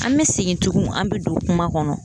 An bɛ segin tugun an bɛ don kuma kɔnɔ.